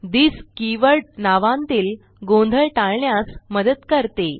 this keyword नावांतील गोंधळ टाळण्यास मदत करते